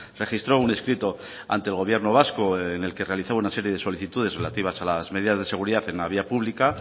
registró un escrito ante el gobierno vasco en el que realizaba una serie de solicitudes relativas a las medidas de seguridad en la vía pública